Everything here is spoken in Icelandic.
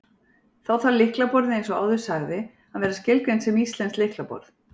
Þá þarf lyklaborðið, eins og áður sagði, að vera skilgreint sem íslenskt lyklaborð.